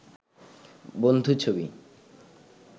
বন্ধু ছবি